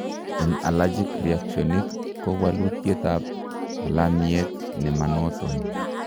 Eng' allergic reactionik ko waluuitiet ab alamiet nemanoton